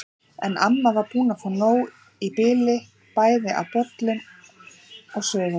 En amma var búin að fá nóg í bili bæði af bollum og sögum.